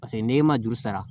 Paseke n'e ma juru sara